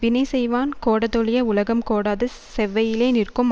வினை செய்வான் கோடாதொழிய உலகம் கோடாது செவ்வையிலே நிற்கும்